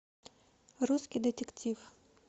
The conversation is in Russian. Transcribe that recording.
русский детектив